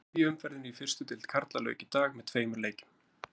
Þriðju umferðinni í fyrstu deild karla lauk í dag með tveimur leikjum.